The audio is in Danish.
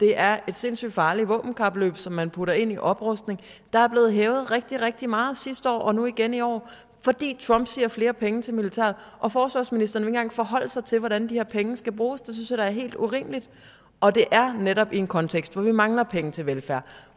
er et sindssygt farligt våbenkapløb som man putter ind i oprustning der er blevet hævet rigtig rigtig meget sidste år og nu igen i år fordi trump siger flere penge til militæret og forsvarsministeren engang forholde sig til hvordan de her penge skal bruges det synes er helt urimeligt og det er netop i en kontekst hvor vi mangler penge til velfærd og